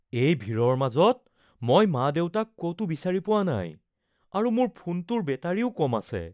এই ভিৰৰ মাজত মই মা-দেউতাক ক'তো বিচাৰি পোৱা নাই আৰু মোৰ ফোনটোৰ বেটাৰীও কম আছে।